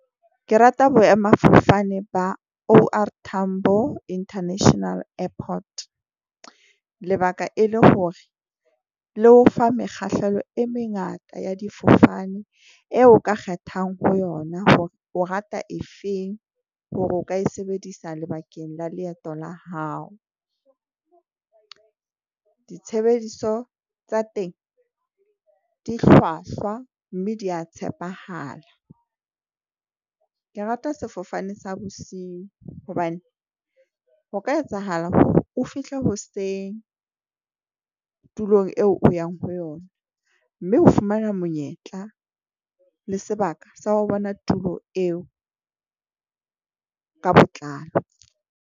Ke rata boemafofane ba O_R Tambo International Airport, lebaka e le hore le o fa mekgahlelo e mengata ya difofane eo o ka kgethang ho yona, hore o rata e feng hore o ka e sebedisa lebakeng la leeto la hao. Ditshebediso tsa teng di hlwahlwa, mme di ya tshepahala. Ke rata sefofane sa bosiu hobane ho ka etsahala hore o fihle hoseng tulong eo o yang ho yona. Mme o fumana monyetla le sebaka sa wa bona tulo eo ka botlalo.